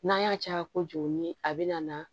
N'an y'a caya kojugu ni a bɛ na